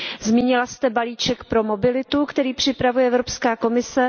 Zmínila jste balíček pro mobilitu, který připravuje Evropská komise.